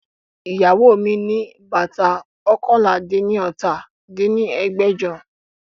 Iyawo mi bata oókànlá-dín-ní-ọ́ta dín ní ẹgbẹ́jọ